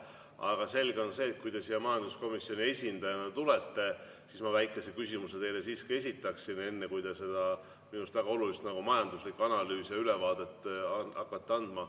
Aga selge on see, et kui te siia majanduskomisjoni esindajana tulete, siis ma väikese küsimuse teile siiski esitaksin enne, kui te seda minu arust väga olulist majanduslikku analüüsi ja ülevaadet hakkate andma.